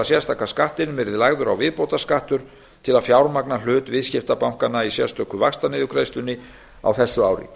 sérstaka skattinum yrði lagður á viðbótarskattur til að fjármagna hlut viðskiptabankanna í sérstöku vaxtaniðurgreiðslunni á þessu ári